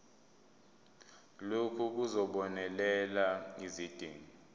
lokhu kuzobonelela izidingo